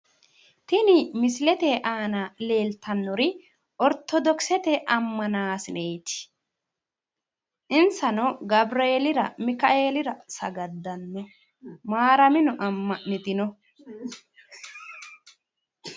Tini misilete aana leeltannori ortodokisete ammanaasineeti. Insano gawureelira, mikaeelira ,sagaddanno, maaramino amma'nitinno.